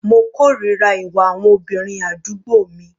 Mo kòrira ìwà àwọn obìnrin àdúgbò mi.